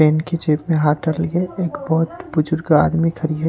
Paint की जेब में हाथ डाली है एक बहुत बुजुर्ग आदमी खड़ी है।